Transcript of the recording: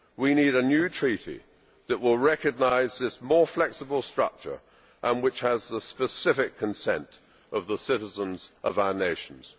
We need a new treaty which will recognise this more flexible structure and which has the specific consent of the citizens of our nations.